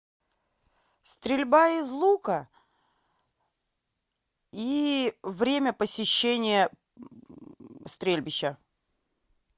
стрельба из лука и время посещения стрельбища